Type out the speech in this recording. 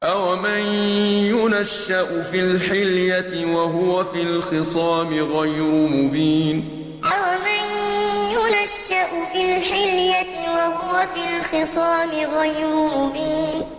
أَوَمَن يُنَشَّأُ فِي الْحِلْيَةِ وَهُوَ فِي الْخِصَامِ غَيْرُ مُبِينٍ أَوَمَن يُنَشَّأُ فِي الْحِلْيَةِ وَهُوَ فِي الْخِصَامِ غَيْرُ مُبِينٍ